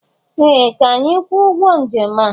Ee! Ka anyị kwụọ ụgwọ njem a.